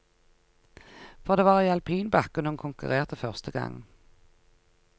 For det var i alpinbakken hun konkurrerte første gang.